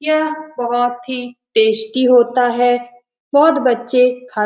यह बहुत ही टेस्टी होता है बहुत बच्चे खा --